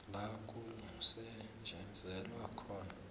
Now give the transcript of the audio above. la kusetjenzelwa khona